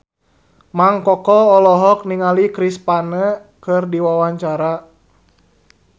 Mang Koko olohok ningali Chris Pane keur diwawancara